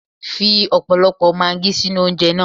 Fi ọ̀pọ̀lọpọ̀ maagí sínú oúnjẹ na.